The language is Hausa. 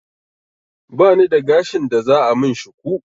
Bani da gashin da za a min shuku